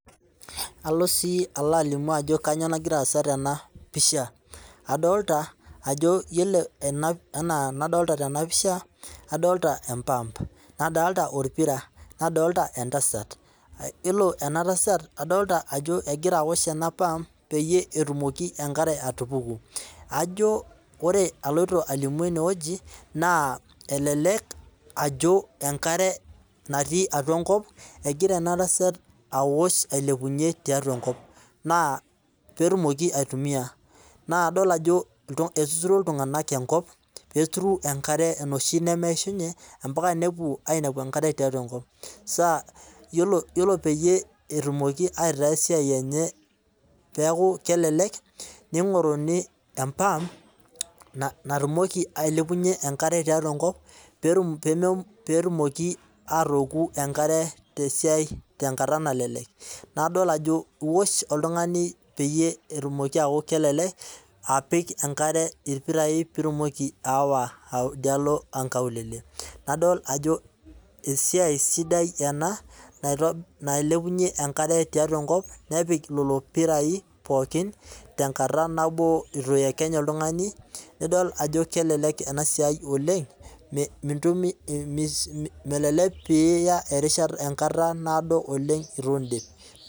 Alo sii alimu ajo kainyoo nagira aasa tenapisha ,adolita ajo yiolo enaa enadolita tena pisha ,adolita empaap nadolita orpira nadolita entasat, yiolo ena tasat, adolita ajo egira aosh ena pumpcs]peyie etumoki enkare atupuku. ajo ore aloito alimu eneweji, naa elelek ajo enkare natii atua enkop egira enatasat aosh ailepunyie tiatua enkop pee etumoki aitumiyia ,naa idol ajo etuturo iltunganak enkop pee eturu enoshi nemeishunye mpaka nepuo ainepu enoshi natii atua enkop .yiolo pee etumoki aitaa esiai enye kelelek, neingoruni empump natumoki ailepunyie enakare tiatua enkop pee etumoki aatooku enkare tenkata nelelek. nadol ajo iwosh oltungani peyie eku kelelek peyie ipik enkare irpirai peyie itumoki aawa nkaulele. nadol ajo esiai sidai ena nailepunyie enkare tiatua enkop nepik lelo pirai pookin tenkata nabo eitu iyekenye oltungani nidol ajo kelelek ena siai oleng ,melelek pee iya erishata naado eitu indipa.